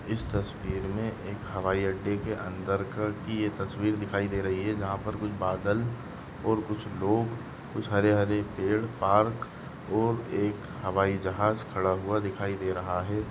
इस तस्वीर में एक हवाई अड्डे के अंदर का की ये तस्वीर दिखाई दे रही है जहाँ पर कुछ बादल और कुछ लोग कुछ हरे हरे पेड़ पार्क और एक हवाई जहाज खड़ा हुआ दिखाई दे रहा है।